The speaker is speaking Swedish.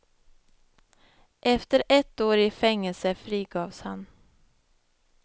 Efter ett år i fängelse frigavs han.